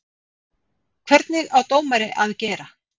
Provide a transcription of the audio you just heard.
Hvernig á dómari að gera?